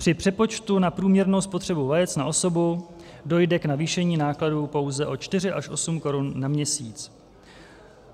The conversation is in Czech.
Při přepočtu na průměrnou spotřebu vajec na osobu dojde k navýšení nákladů pouze o 4 až 8 korun na měsíc.